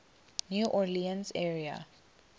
new orleans area